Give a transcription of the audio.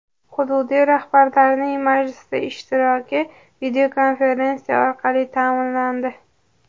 Hududiy rahbarlarning majlisda ishtiroki videokonferensiya orqali ta’minlandi.